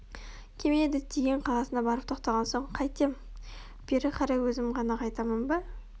кеме діттеген қаласына барып тоқтаған соң қайтем бері қарай өзім ғана қайтамын ба